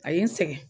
A ye n sɛgɛn